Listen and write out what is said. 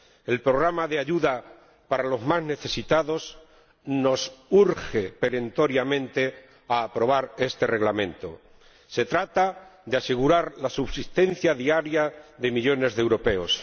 El programa de ayuda a las personas más necesitadas nos urge perentoriamente a aprobar este Reglamento. Se trata de asegurar la subsistencia diaria de millones de europeos.